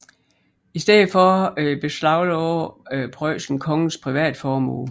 I stedet beslagde Preussen kongens privatformue